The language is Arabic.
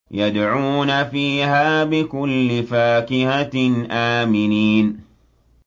يَدْعُونَ فِيهَا بِكُلِّ فَاكِهَةٍ آمِنِينَ